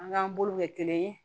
An k'an bolo kɛ kelen ye